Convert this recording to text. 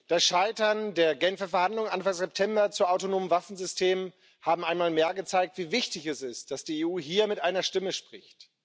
Das Scheitern der Genfer Verhandlungen Anfang September zu autonomen Waffensystemen hat einmal mehr gezeigt, wie wichtig es ist, dass die EU hier mit einer Stimme spricht.